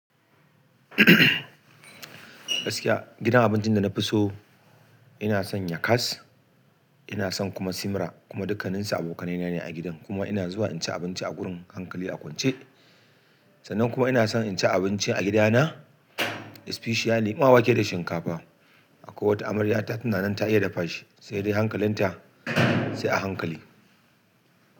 Gaskiya gidan abincin da na fi so ina son yakas, ina son kuma simra kuma dukaninsu abokanai na ne a gidan. Kuma ina zuwa in ci abinci a gurin hankali a kwance. Sannan kuma ina son in ci abinci a gida na, especially ma wake da shinkafa. A ko wata amarya ta tina nan ta iya dafa shi, sai dai hankalin ta, sai a hankali.